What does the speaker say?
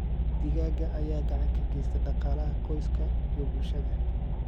Digaagga ayaa gacan ka geysta dhaqaalaha qoyska iyo bulshada.